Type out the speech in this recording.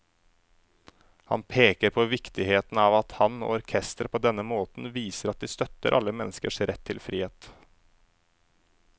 Han peker på viktigheten av at han og orkesteret på denne måten viser at de støtter alle menneskers rett til frihet.